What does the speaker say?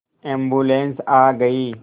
ambulance आ गई